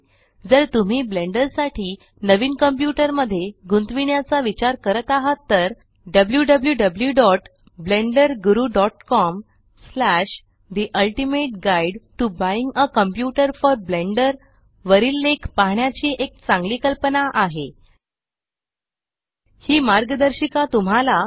जर तुम्ही ब्लेण्डर साठी नवीन कंप्यूटर मध्ये गुंतविण्याचा विचार करत आहात तर डब्ल्यूडब्ल्यूडब्ल्यूडब्ल्यूडब्यूडब्यूडब्यूडब्यूडब्यूडब्यूडब्यूडब्ल्यूडब्यूडब्यूडब्यूडब्यूडब्यूडब्यूडब्यूडब्यूडब्यूडब्ल्यूडब्ल्यूडब्यूडब्यूडब्ल्ल्यूडब्यूडब्यूडब्यूडब्यूडब्यूडब्यूडब्यूडब्यूडब्यूडब्यूडब